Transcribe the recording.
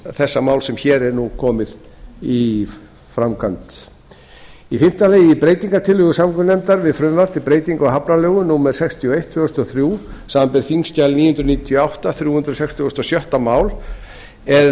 þessa máls sem hér er nú komið í framkvæmd fimmti í breytingartillögu samgöngunefndar við frumvarp til breytingar á hafnalögum númer sextíu og eitt tvö þúsund og þrjú er